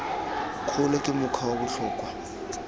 kgolo ke mokgwa wa botlhokwa